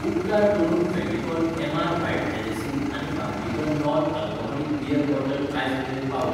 उपकार करून Fevicol MR white adhesive आनी Barbican non alcoholic beer bottle आयज मेरेन पावय.